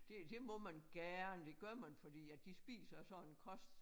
Det det må man gerne det gør man fordi at de spiser sådan en kost